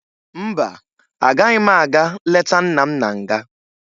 Mba, agaghị m aga leta nna m na nga